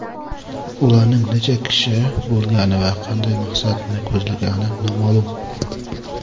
Ularning necha kishi bo‘lgani va qanday maqsadni ko‘zlagani noma’lum.